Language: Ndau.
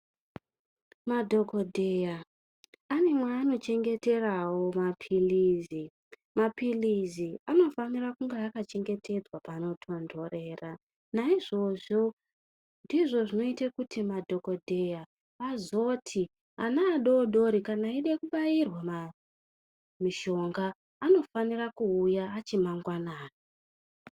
Madhokodheya ane mwaano chengeterawo mapilizi mapilizi anofanira kunge akachengetedzwa panotonhorera naizvozvo ndizvo zvinoite kuti madhokodheya azoti ana adodori kana eide kubairwa mushonga anofanire kuuya achi mangwanani.